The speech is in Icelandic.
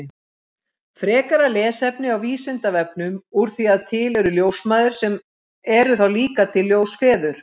Frekara lesefni á Vísindavefnum Úr því að til eru ljósmæður, eru þá líka til ljósfeður?